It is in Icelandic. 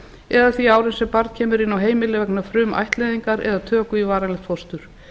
eða því ári sem barn kemur inn á heimilið vegna frumættleiðingar eða töku í varanlegt fóstur